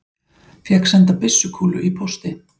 Fékk senda byssukúlu í pósti